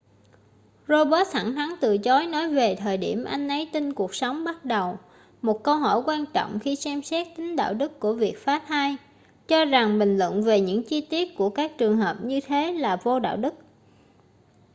roberts thẳng thắn từ chối nói về thời điểm anh ấy tin cuộc sống bắt đầu một câu hỏi quan trọng khi xem xét tính đạo đức của việc phá thai và cho rằng bình luận về những chi tiết của các trường hợp như thế là vô đạo đức